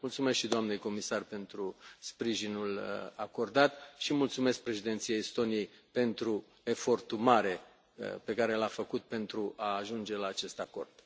Mulțumesc și doamnei comisar pentru sprijinul acordat și mulțumesc președinției Estoniei pentru efortul mare pe care l a făcut pentru a ajunge la acest acord.